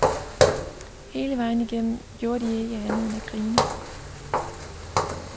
Hele vejen igennem gjorde de ikke andet end at grine.